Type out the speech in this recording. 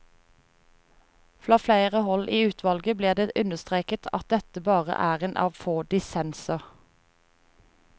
Fra flere hold i utvalget blir det understreket at dette bare er en av få dissenser.